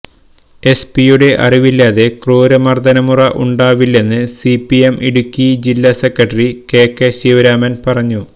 എസ്പിയുടെ അറിവില്ലാതെ ക്രൂരമര്ദനമുറ ഉണ്ടാവില്ലെന്ന് സിപിഐ ഇടുക്കി ജില്ലാ സെക്രട്ടറി കെ കെ ശിവരാമന് പറഞ്ഞു